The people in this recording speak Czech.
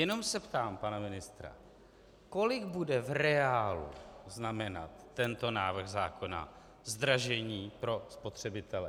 Jenom se ptám pana ministra, kolik bude v reálu znamenat tento návrh zákona zdražení pro spotřebitele.